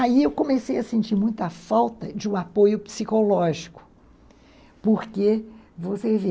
Aí eu comecei a sentir muita falta de um apoio psicológico, porque você vê...